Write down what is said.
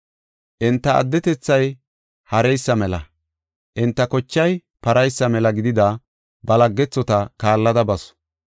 Enta atunthay hareysa mela, enta kochay paraysa mela gidida ba laggethota kaallada basu.